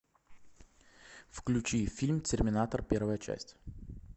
включи фильм терминатор первая часть